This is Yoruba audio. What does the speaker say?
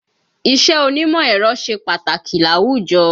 Iṣẹ́ onímọ̀ ẹ̀rọ ṣe pàtàkì láwùjọ